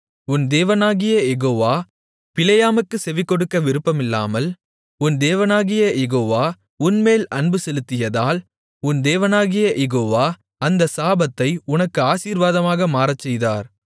உன் தேவனாகிய யெகோவா பிலேயாமுக்குச் செவிகொடுக்க விருப்பமில்லாமல் உன் தேவனாகிய யெகோவா உன்மேல் அன்புசெலுத்தியதால் உன் தேவனாகிய யெகோவா அந்த சாபத்தை உனக்கு ஆசீர்வாதமாக மாறச்செய்தார்